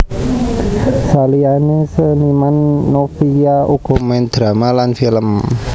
Saliyané seniman Novia uga main drama lan film